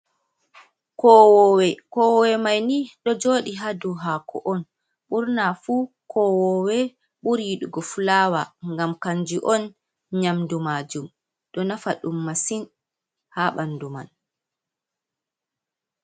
Kowowe, kowowe may ni ɗo joodi haa dow haako on burna fu. Kowowe ɓuri yiɗugo fulaawa ,ngam kanji on nyamdu maajum .Ɗo nafa ɗum masin haa ɓanndu man.